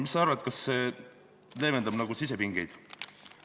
Mis sa arvad, kas see leevendab sisepingeid?